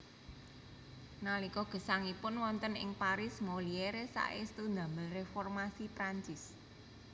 Nalika gesangipun wonten ing Paris Molière saestu damel reformasi Prancis